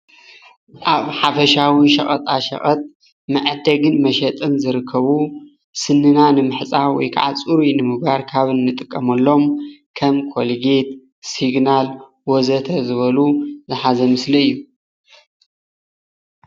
ኣብ ሓፈሻዊ ሸቀጣ ሸቀጥ መዐደግን መሸጥን ዝርከቡ ስንና ንምሕፃብ ወይክዓ ፅሩይ ንምግባር ካብ እንጥቀመሎም ከም ኮልጌት ፣ ሲግናል ወዘተ ዝበሉ ዝሓዘ ምስሊ እዩ፡፡